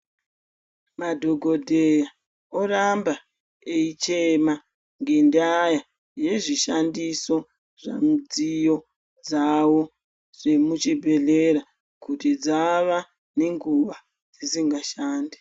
Madhokoteya oramba eichema ngendaa yezvishandiso zvemidziyo dzavo dzemuchibhedhlera kuti dzawa nenguva dzisingashandi.